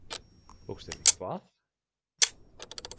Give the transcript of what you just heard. Tókst henni hvað?